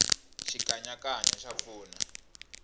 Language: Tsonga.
xikanyakanya xa pfuna